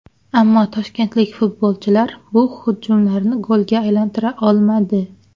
Ammo toshkentlik futbolchilar bu hujumlarni golga aylantira olmadi.